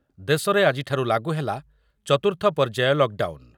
ଦେଶରେ ଆଜିଠାରୁ ଲାଗୁ ହେଲା ଚତୁର୍ଥ ପର୍ଯ୍ୟାୟ ଲକ୍‌ଡାଉନ୍‌ ।